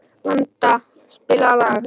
Vanda, spilaðu lag.